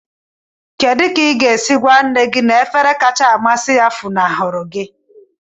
Kedu ka ị ga-esi gwa nne gị na efere kacha amasị ya funahụrụ gị?